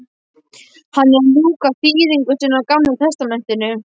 Hann er að ljúka þýðingu sinni á gamla testamentinu.